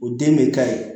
O den bɛ ka ye